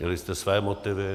Měli jste své motivy.